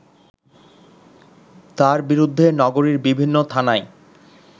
তার বিরুদ্ধে নগরীর বিভিন্ন থানায়